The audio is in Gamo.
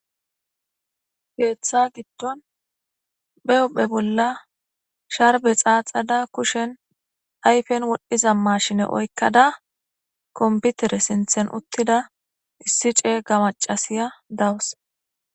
Keta gidon ba huphe bola sharbe xaxada kushen ayfe wordhida machine oyqada kompiwter sintan utida isi c'ega mac'asiya dawusu.